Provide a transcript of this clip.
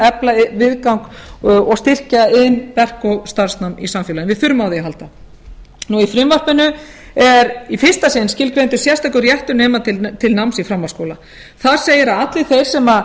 efla viðgang og styrkja iðn verk og starfsnám í samfélaginu við þurfum á því að halda í frumvarpinu er í fyrsta sinn skilgreindur sérstakur réttur nemanda til náms í framhaldsskóla þar segir